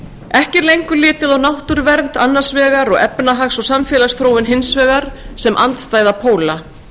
ekki er lengur litið á náttúruvernd annars vegar og efnahags og samfélagsþróun hins vegar sem andstæða póla